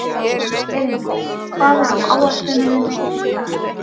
Elíndís, hvað er á áætluninni minni í dag?